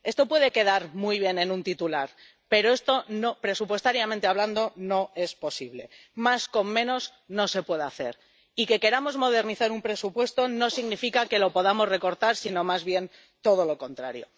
Esto puede quedar muy bien en un titular, pero esto, presupuestariamente hablando, no es posible —más con menos, no se puede hacer— Y que queramos modernizar un presupuesto no significa que lo podamos recortar, sino más bien todo lo contrario.